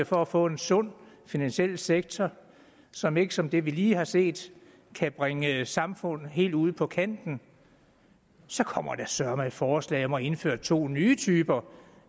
for at få en sund finansiel sektor som ikke som det vi lige har set kan bringe samfundet helt ud på kanten kommer der søreme et forslag om at indføre to nye typer